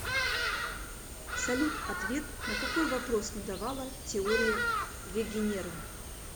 салют ответ на какой вопрос не давала теория вегенера